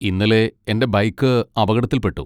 ഇന്നലെ എന്റെ ബൈക്ക് അപകടത്തിൽ പെട്ടു.